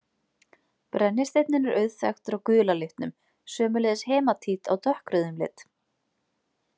Brennisteinninn er auðþekktur á gula litnum, sömuleiðis hematít á dökkrauðum lit.